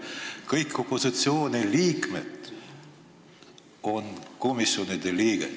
Kõik opositsiooni liikmed on seal komisjonide liikmed.